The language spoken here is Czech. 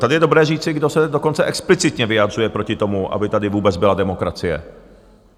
Tady je dobré říci, kdo se dokonce explicitně vyjadřuje proti tomu, aby tady vůbec byla demokracie.